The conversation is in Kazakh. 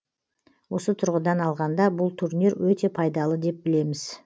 осы тұрғыдан алғанда бұл турнир өте пайдалы деп білеміз